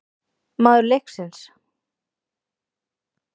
Maður leiksins?